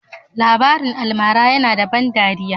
Labarin almara yana da ban ɗariya